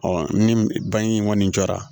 ni bange in kɔni jara